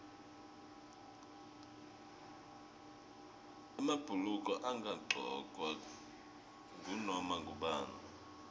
emabhuluko angagcokwa ngunoma ngubani